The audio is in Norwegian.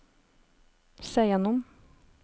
se gjennom